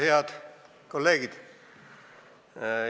Head kolleegid!